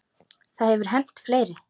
Það hefur hent fleiri.